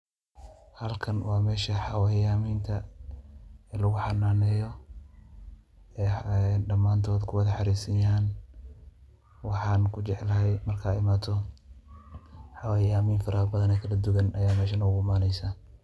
Halkan wa mesha waxa weeyan inta lagu xananeeyoh ee dhamantood kuwal xarersanyaho waxan kujeclahay marka imathoh xawayamin farabathan Aya meeshan ugu imaneysah.